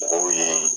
Mɔgɔw ye